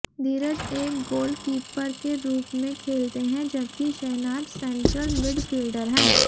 धीरज एक गोलकीपर के रूप में खेलते हैं जबकि शेहनाज सेंट्रल मिडफील्डर हैं